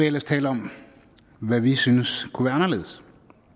ellers tale om hvad vi synes kunne være anderledes